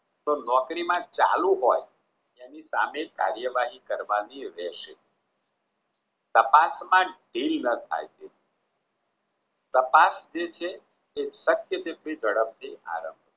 તો નોકરી માં ચાલુ હોય એની સામેલ કાર્યવાહી કરવાની રહેશે તપાસમાં ઢીલ ન થાય છે તાપસ જે છે સત્ય જેટલી ઝડપથી આવે